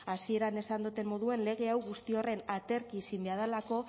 hasieran esan doten moduen lege hau guzti horren aterki izin beha delako